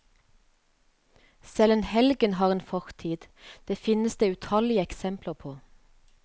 Selv en helgen har en fortid, det finnes det utallige eksempler på.